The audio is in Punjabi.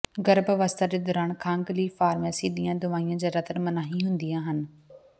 ਗਰਭ ਅਵਸਥਾ ਦੇ ਦੌਰਾਨ ਖੰਘ ਲਈ ਫਾਰਮੇਸੀ ਦੀਆਂ ਦਵਾਈਆਂ ਜਿਆਦਾਤਰ ਮਨਾਹੀ ਹੁੰਦੀਆਂ ਹਨ